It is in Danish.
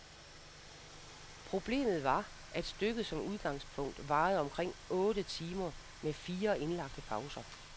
Problemet var, at stykket som udgangspunkt varede omkring otte timer med fire indlagte pauser.